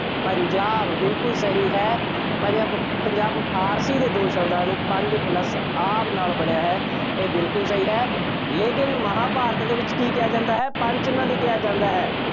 ਪੰਜਾਬ, ਬਿਲਕੁੱਲ ਸਹੀ ਹੈ। ਪੰਜ ਆਬ, ਪੰਜਾਬ ਫਾਰਸੀ ਦੇ ਦੋ ਸ਼ਬਦਾਂ ਨੂੰ ਪੰਜ plus ਆਬ ਨਾਲ ਬਣਿਆ ਹੈ। ਇਹ ਬਿਲਕੁੱਲ ਸਹੀ ਹੈ। ਲੇਕਿਨ ਮਹਾਂਭਾਰਤ ਦੇ ਵਿੱਚ ਕੀ ਕਿਹਾ ਜਾਂਦਾ ਹੈ, ਪੰਚਨਦ ਕਿਹਾ ਜਾਂਦਾ ਹੈ।